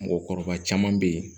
Mɔgɔkɔrɔba caman be ye